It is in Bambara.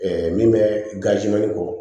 min bɛ gazimɛli kɔ